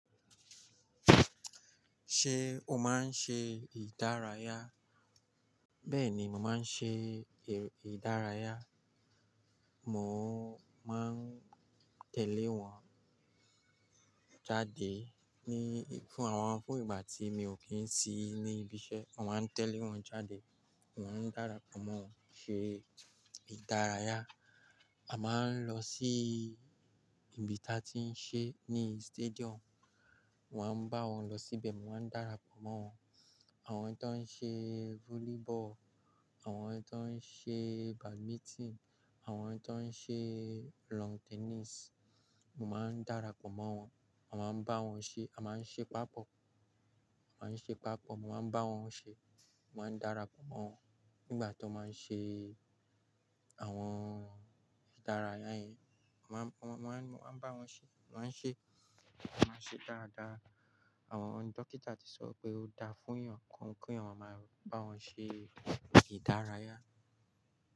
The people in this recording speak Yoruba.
Ṣé o máa ń ṣe ìdárayá? Bẹ́ẹ̀ ni, màá ń ṣe ìdárayá. Mò ń máa ń tẹ̀lé wọn jáde ní fún àwọn fún ìgbà tí mi ò kí ń sí ní ibi iṣẹ́, màá ń tẹ̀lé wọn jáde, mò ń darapọ̀ mọ́ wọn ṣe ìdárayá. A máa ń lọ sí ibi tí a ti ń ṣe ní stadium, wọ́n máa ń bá wọn lọ sí ibẹ̀, mò ń darapọ̀ mọ́ wọn. Àwọn tó ń ṣe volleyball, àwọn tó ń ṣe badminton, àwọn tó ń ṣe lawn tennis, mò máa ń darapọ̀ mọ́ wọn. A máa ń bá wọn ṣe, a máa ń ṣe pàpọ̀, a máa ń ṣe pàpọ̀, mò máa ń bá wọn ṣe, mò máa ń darapọ̀ mọ́ wọn nígbà tó máa ń ṣe àwọn ìdárayá yìí. Ma-- wọ́n máa ń bá wọn ṣe, wọ́n máa ń ṣe, wọ́n máa ń ṣe dáadáa. Àwọn dókítà ti sọ pé ó dáa fún èèyàn kí èèyàn máa bá wọn ṣe ìdárayá.